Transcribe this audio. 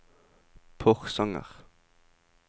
Porsanger